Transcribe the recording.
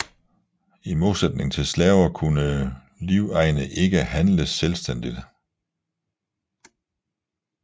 I modsætning til slaver kunne livegne ikke handles selvstændigt